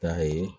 K'a ye